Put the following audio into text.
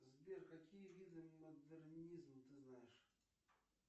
сбер какие виды модернизм ты знаешь